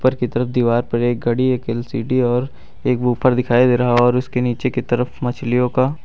की तरफ दीवार पर एक घड़ी एक एल_सी_डी और एक बूफर दिखाई दे रहा और उसके नीचे की तरफ मछलियों का--